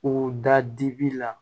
U da dibi la